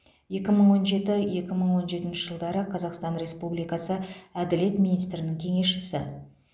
екі мың он жеті екі мың он жетінші жылдары қазақстан республикасы әділет министрінің кеңесшісі